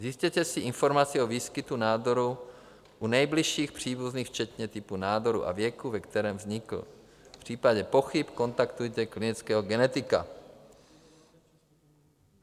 zjistěte si informaci o výskytu nádoru u nejbližších příbuzných včetně typu nádoru a věku, ve kterém vznikl; v případě pochyb kontaktujte klinického genetika.